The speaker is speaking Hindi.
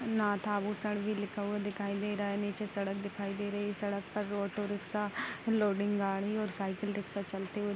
भुसड़ भी लिखा हुआ दिखाई दे रहा है। निचे सड़क दिखाई दे रही है। सड़क पर ऑटो रिक्सा लोडिंग गाड़ी और साइकिल रिक्सा चलते हुए --